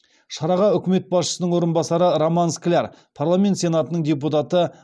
шараға үкімет басшысының орынбасары роман скляр парламент сенатының депутаты